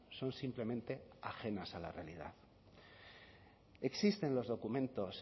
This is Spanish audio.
son simplemente ajenas a la realidad existen los documentos